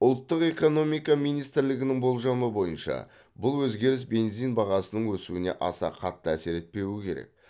ұлттық экономика министрлігінің болжамы бойынша бұл өзгеріс бензин бағасының өсуіне аса қатты әсер етпеуі керек